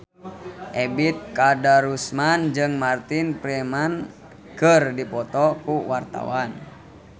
Ebet Kadarusman jeung Martin Freeman keur dipoto ku wartawan